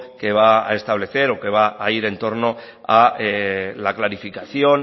que va a establecer o que va a ir en torno a la clarificación